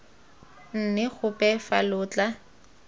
nne gope fa lo tla